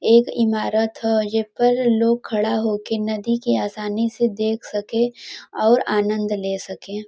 एक इमारत ह। ये पर लोग खड़ा होके नदी के आसानी से देख सके और आनंद ले सके।